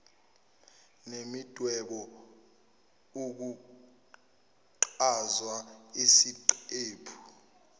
nemidwebo ukuchaza isiqephu